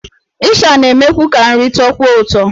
Ịsha na-emekwu ka nri tọọkwuo ụtọ.